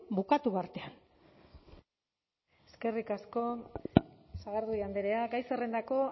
bukatu artean eskerrik asko sagardui andrea gai zerrendako